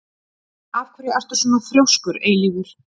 Af hverju ertu svona þrjóskur, Eilífur?